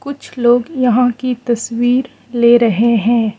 कुछ लोग यहां की तस्वीर ले रहे हैं।